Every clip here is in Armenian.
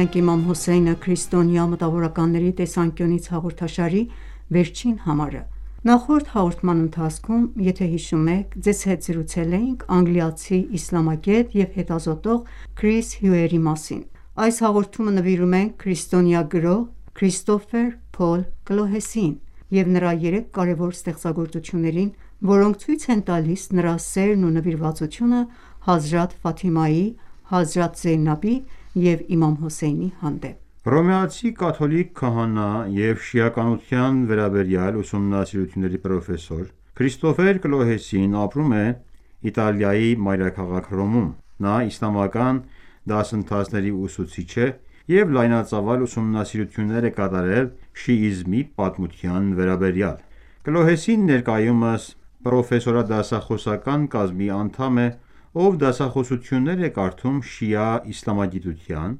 ենք «Իմամ Հոսեյնը» քրիստոնյա մտավորականների տեսանկյունից» հաղորդաշարի վերջին համարը։ Նախորդ հաղորդման ընթացքում ձեզ հետ զրուցել էինք անգլիացի իսլամագետ և հետազոտող «Քրիս Հյուերի» մասին։ Այս հաղորդումը նվիրում ենք քրիստոնյա գրող «Քրիստոֆեր Փոլ Կլոհեսիին» և նրա երեք կարևոր ստեղծագործություններին, որոնք ցույց են տալիս նրա սերն ու նվիրվածությունը Հազրաթ Ֆաթիմայի, Հազրաթ Զեյնաբի և Իմամ Հոսեյնի հանդեպ։ Հռոմեացի կաթոլիկ քահանա և շիականության վերաբերյալ ուսումնասիրությունների պրոֆեսոր՝ «Քրիստոֆեր Կլոհեսին» ապրում է Իտալիայի մայրաքաղաք Հռոմում։ Նա իսլամական դասընթացների ուսուցիչ է և լայնածավալ ուսումնասիրություններ է կատարել շիիզմի պատմության վերաբերյալ: Կլոհեսին ներկայումս պրոֆեսորադասախոսական կազմի անդամ է, ով դասախոսություններ է կարդում շիա իսլամագիտության,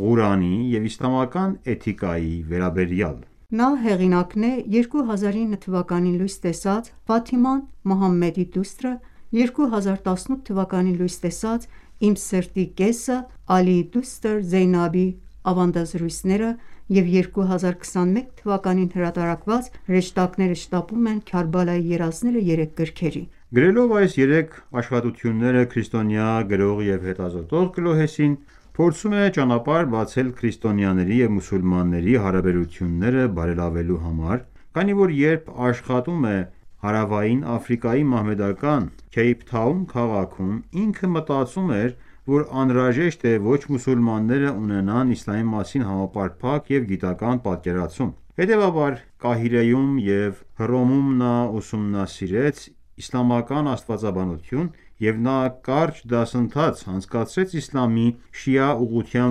Ղուրանի և իսլամական էթիկայի վերաբերյալ: Նա հեղինակն է 2009թ․ լույս տեսած «Ֆաթիմա Մուհամմեդի դուստր», 2018թ. լույս տեսած «Իմ սրտի կեսը. Ալիի դուստր Զեյնաբի ավանդազրույցները» և 2021թ. հրատարակված «Հրեշտակները շտապում են. Քարբալայի երազները» երեք գրքերի: Գրելով այս երեք աշխատությունները՝ քրիստոնյա գրող և հետազոտող Կլոհեսին փորձում էր ճանապարհ բացել քրիստոնյաների և մուսուլմանների հարաբերությունները բարելավելու համար, քանի որ երբ աշխատում էր Հարավային Աֆրիկայի մահմեդական «Քեյփթաուն» քաղաքում՝ ինքը մտածում էր, որ անհրաժեշտ է ոչ մուսուլմանները ունենան իսլամի մասին համապարփակ և գիտական պատկերացում: Հետևաբար, Կահիրեում և Հռոմում նա ուսումնասիրեց իսլամական աստվածաբանությունը և նաև կարճ դասընթաց անցկացրեց իսլամի շիա ուղղության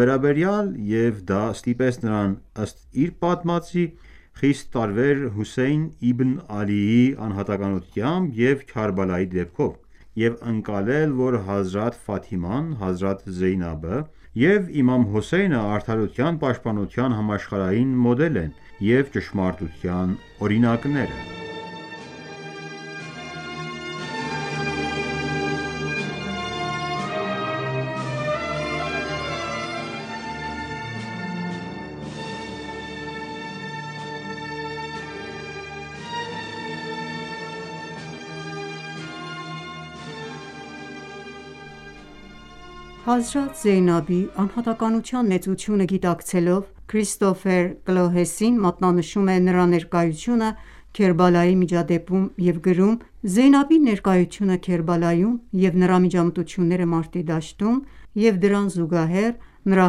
վերաբերյալ, և դա ստիպեց նրան, ըստ իր պատմածի, «խիստ տարվեր Հոսեյն իբն Ալիի անհատականությամբ և Քարբալայի դեպքով» և ընկալել, որ Հազրաթ Ֆաթիման, Հազրաթ Զեյնաբը և Իմամ Հոսեյնը «արդարության պաշտպանության համաշխարհային մոդելն են» և «ճշմարտության օրինակները»: Հազրաթ Զեյնաբի անհատականության մեծությունը գիտակցելով՝ Քրիստոֆեր Կլոհեսին մատնանշում է նրա ներկայությունը Քերբալայի միջադեպում և գրում.«Զեյնաբի ներկայությունը Քերբալայում և նրա միջամտությունները մարտի դաշտում և դրան զուգահեռ, նրա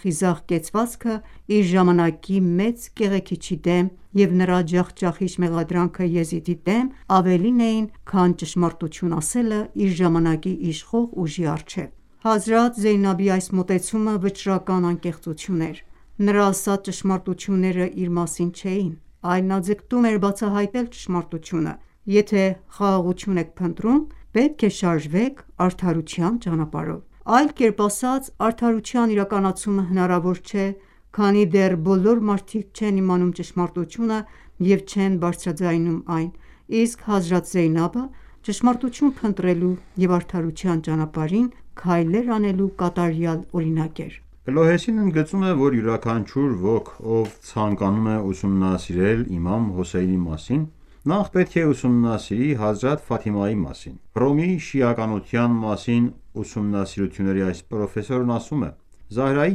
խիզախ կեցվածքը իր ժամանակի մեծ կեղեքիչի դեմ և նրա ջախջախիչ մեղադրանքը Եզիդի դեմ, ավելին էին, քան ճշմարտություն ասելը իր ժամանակի իշխող ուժի առջև: Հազրաթ Զեյնաբի այս մոտեցումը «վճռական անկեղծություն» էր։ Նրա ասած ճշմարտությունները իր մասին չէին, այլ նա ձգտում էր բացահայտել ճշմարտությունը։ Եթե խաղաղություն եք փնտրում, պետք է շարժվեք արդարության ճանապարհով: Այլ կերպ ասած, արդարության իրականացումը հնարավոր չէ, քանի դեռ բոլոր մարդիկ չեն իմանում ճշմարտությունը և չեն բարձրաձայնում այն, իսկ Հազրաթ Զեյնաբը ճշմարտություն փնտրելու և արդարության ճանապարհին քայլեր անելու կատարյալ օրինակ էր»: Կլոհեսին ընդգծում է, որ յուրաքանչյուր ոք, ով ցանկանում է ուսումնասիրել Իմամ Հոսեյնի մասին, նախ պետք է ուսումնասիրի Հազրաթ Ֆաթիմայի մասին: Հռոմի շիականության մասին ուսումնասիրությունների այս պրոֆեսորն ասում է. «Զահրայի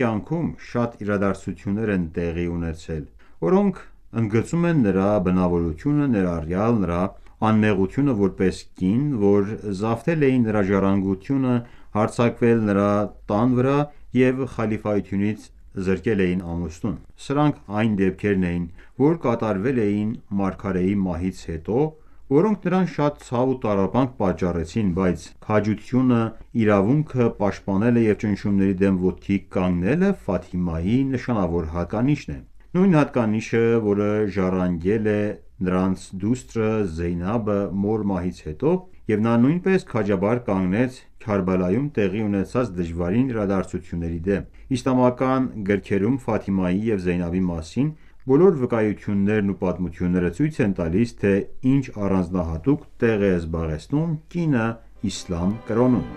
կյանքում շատ իրադարձություններ են տեղի ունեցել, որոնք ընդգծում են նրա բնավորությունը, ներառյալ նրա անմեղությունը որպես կին, որ զավթել էին նրա ժառանգությունը, հարձակվել նրա տան վրա և խալիֆայությունից զրկել էին ամուսնուն: Սրանք այն դեպքերն էին, որ կատարվել էին Մարգարեի մահից հետո, որոնք նրան շատ ցավ ու տառապանք պատճառեցին, բայց քաջությունը իրավունքը պաշտպանելը և ճնշումների դեմ ոտքի կանգնելը Ֆաթիմայի նշանավոր հատկանիշն է: Նույն հատկանիշը, որը ժառանգել է նրանց դուստրը՝ Զեյնաբը մոր մահից հետո, և նա նույնպես քաջաբար կանգնեց Քարբալայում տեղի ունեցած դժվարին իրադարձությունների դեմ։ Իսլամական գրքերում Ֆաթիմայի և Զեյնաբի մասին բոլոր վկայություններն ու պատմությունները ցույց են տալիս, թե ինչ առանձնահատուկ տեղ է զբաղեցնում կինը Իսլամ կրոնում»: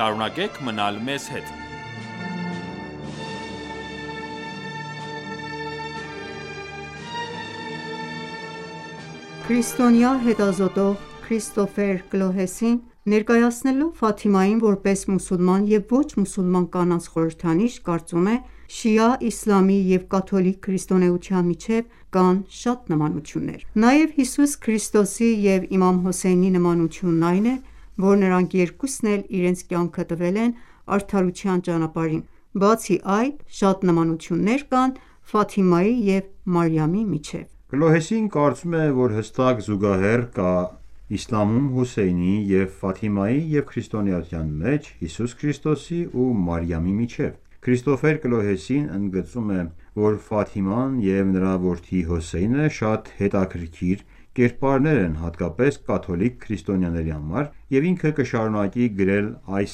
Այս քրիստոնյա հետազոտող Քրիստոֆեր Կլոհեսին, ներկայացնելով Ֆաթիմային որպես մուսուլման և ոչ մուսուլման կանանց խորհրդանիշ, կարծում է. «Շիա իսլամի և կաթոլիկ քրիստոնեության միջև կան շատ նմանություններ։ Նաև Հիսուս Քրիստոսի և իմամ Հոսեյնի նմանությունն այն է, որ նրանք երկուսն էլ իրենց կյանքը տվել են արդարության ճանապարհին: Բացի այդ, շատ նմանություններ կան Ֆաթիմայի և Մարիամի միջև»: Կլոհեսին կարծում է, որ հստակ զուգահեռ կա իսլամում Հոսեյնի և Ֆաթիմայի և քրիստոնեության մեջ Հիսուս Քրիստոսի ու մարիամի միջև: Քրիստոֆեր Կլոհեսին ընդգծում է, որ Ֆաթիման և նրա որդի Հոսեյնը շատ հետաքրքիր կերպարներ են, հատկապես կաթոլիկ քրիստոնյաների համար, և ինքը կշարունակի գրել այս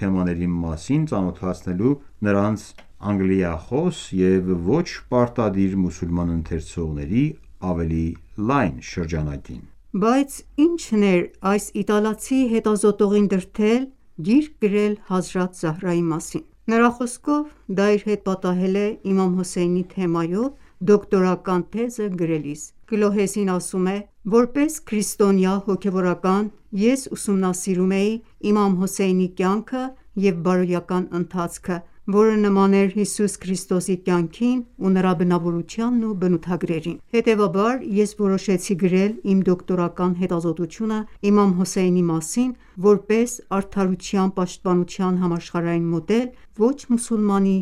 թեմաների մասին՝ ծանոթացնելու նրանց անգլիախոս և ոչ պարտադիր մուսուլման ընթերցողների ավելի լայն շրջանակին։ Բայց ի՞նչն էր այս իտալացի հետազոտողին դրդել գիրք գրել Հազրաթ Զահրայի մասին: Նրա խոսքով, դա իր հետ պատահել է իմամ Հոսեյնի թեմայով դոկտորական թեզը գրելիս: Կլոհեսին ասում է.«Որպես քրիստոնյա հոգևորական՝ ես ուսումնասիրում էի Իմամ Հոսեյնի կյանքը և բարոյական ընթացքը, որը նման էր Հիսուս Քրիստոսի կյանքին ու նրա բնավորությանը և բնութագրերին: Հետևաբար, ես որոշեցի գրել իմ դոկտորական հետազոտությունը Իմամ Հոսեյնի մասին որպես «արդարության պաշտպանության համաշխարհային մոդել» ոչ մուսուլմանի